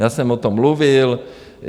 Já jsem o tom mluvil.